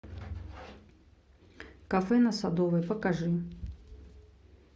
кафе на садовой покажи